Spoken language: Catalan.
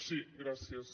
sí gràcies